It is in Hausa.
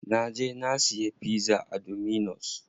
Na je na siya pizza a dominus.